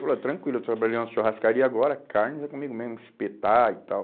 Falei, tranquilo, eu trabalhei na churrascaria agora, carnes é comigo mesmo, espetar e tal.